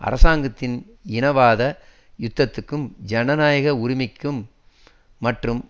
அரசாங்கத்தின் இனவாத யுத்தத்துக்கும் ஜனநாயக உரிமை மற்றும்